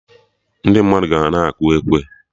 Ndị mmadụ ka na akụ ekwe